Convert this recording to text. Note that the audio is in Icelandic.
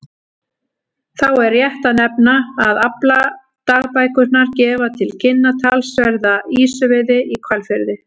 Þá er rétt að nefna að afladagbækurnar gefa til kynna talsverða ýsuveiði í Hvalfirði.